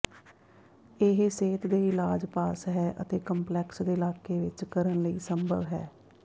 ਇਹ ਸਿਹਤ ਦੇ ਇਲਾਜ ਪਾਸ ਹੈ ਅਤੇ ਕੰਪਲੈਕਸ ਦੇ ਇਲਾਕੇ ਵਿਚ ਕਰਨ ਲਈ ਸੰਭਵ ਹੈ